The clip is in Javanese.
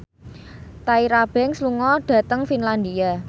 Tyra Banks lunga dhateng Finlandia